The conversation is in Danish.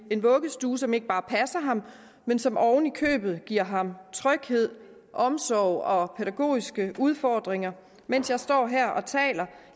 en vuggestue som ikke bare passer ham men som oven i købet giver ham tryghed omsorg og pædagogiske udfordringer mens jeg står her og taler